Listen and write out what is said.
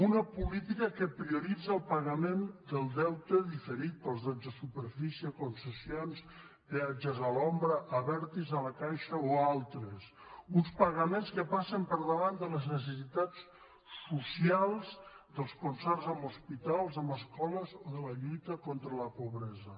una política que prioritza el pagament del deute diferit pels drets de superfície concessions peatges a l’ombra a abertis a la caixa o a altres uns pagaments que passen per davant de les necessitats socials dels concerts amb hospitals amb escoles o de la lluita contra la pobresa